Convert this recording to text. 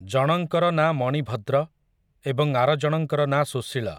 ଜଣଙ୍କର ନାଁ ମଣିଭଦ୍ର, ଏବଂ ଆରଜଣଙ୍କର ନାଁ ସୁଶୀଳ ।